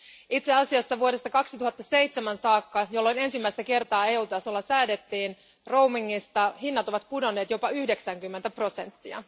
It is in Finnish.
Itse asiassa vuodesta 2007 saakka, jolloin ensimmäistä kertaa EU tasolla säädettiin roamingista, hinnat ovat pudonneet jopa 90 prosenttia.